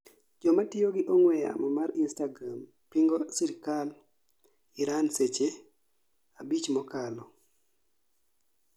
jamatiyo gi ong'we yamo mar Instagram pingo sirkand Iran seche 5 mokalo